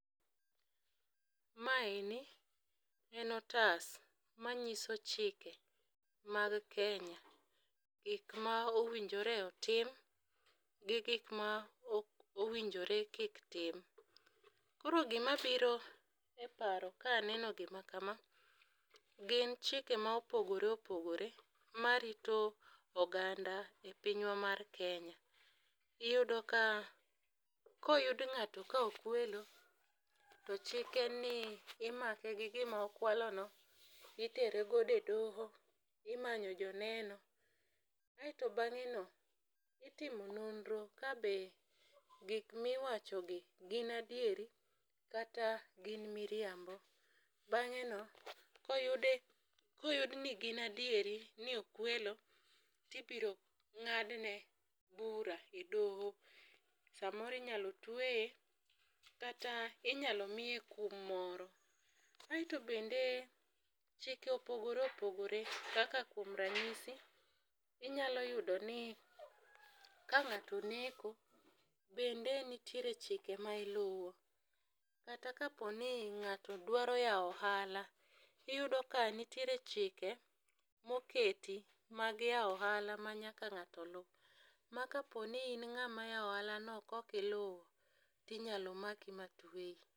Mae ni en otas manyiso chike mag kenya gik ma owinjore otim gi gik ma ok owinjore kik tim. Koro gima biro e paro kaneno gima kama gin chike ma opogore opogore marito oganda e pinywa mar kenya. Iyudo ka koyud ng'ato ka okwelo ,to chik en ni imake gi gima okwalo no itere godo e doho imanyo joneno aeto bang'e no itimo nonro kabe gik miwacho gi gin adieri kata gin miriambo. Bang'e no koyude koyud ni gin adieri ni okwelo tibiro ng'adne bura e doho. Samoro inyalo tweye kata inyalo miye kum moro. Aeto bende chike opogore opogore kaka kuom ranyisi inyalo yudo ni ka ng'ato oneko bende nitiere chike ma iluwo kata kapo ni ng'ato dwaro yawo ohala tiyudo ka nitiere chike moketi mag yawo ohala ma nyaka ng'ato lu ma kapo ni in ng'at yawo ohala no kok iluwo tinyalo maki ma tweyi.